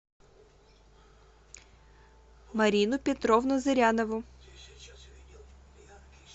марину петровну зырянову